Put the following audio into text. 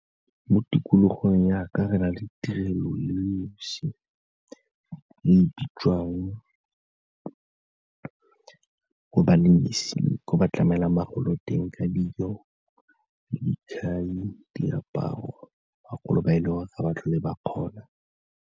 Mo tikologong ya ka re na le tirelo e le 'osi e bitswang badirisi ko ba tlamelang bagolo teng ka dijo, , diaparo, bagolo ba e leng gore ga ba tlhole ba kgona.